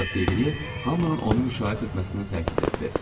Ancaq Deqri hamının onu müşayiət etməsinə təkid etdi.